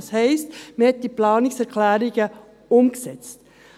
Das heisst, man hat die Planungserklärungen umgesetzt.